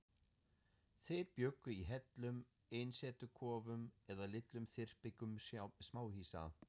Þeir bjuggu í hellum, einsetukofum eða litlum þyrpingum smáhýsa.